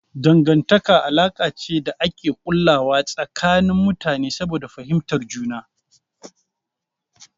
Dangantaka alaka ce da ake ƙullawa tsakanin mutane saboda fahimtar juna.